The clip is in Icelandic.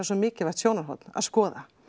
svo mikilvægt sjónarhorn að skoða